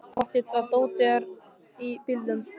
Það er pottþétt að dótið er í bílnum!